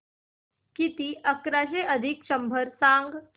किती अकराशे बेरीज शंभर सांग